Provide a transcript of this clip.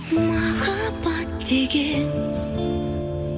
махаббат деген